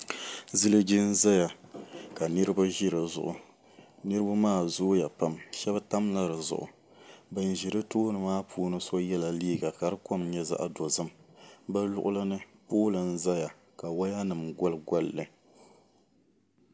Ziliji n ʒɛya ka niraba ʒi di zuɣu niraba maa zooya pam shab tamla di zuɣu bin ʒi di tooni maa shab yɛla liiga ka di kom nyɛ zaɣ dozim bi luɣuli ni pooli n ʒɛya ka waya nim goli golli